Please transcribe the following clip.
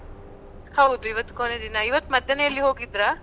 ಹೌದ್ ಈವತ್ ಕೊನೆದಿನ, ಈವತ್ ಮಧ್ಯಾಹ್ನ ಎಲ್ಲಿ ಹೋಗಿದ್ರಾ?